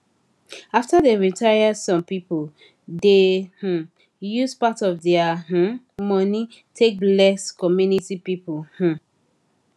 after dem retire some people dey um use part of dia um money take bless community people um